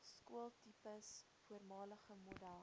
skooltipes voormalige model